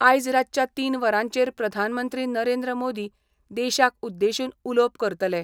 आयज रातच्या तीन वरांचेर प्रधानमंत्री नरेंद्र मोदी देशाक उद्देशून उलोवप करतले.